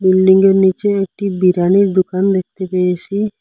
বিল্ডিংয়ের নীচে একটি বিরিয়ানির দোকান দেখতে পেয়েসি।